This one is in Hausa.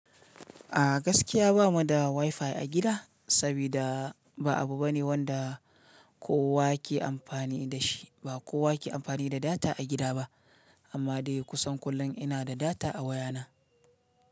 A gaskiya ba mu da wifi a gida, saboda ba abu bane wanda kowa ke amfani da shi. Ba kowa ke amfani da data a gida ba, amma dai kusan kullum ina da data a wayana.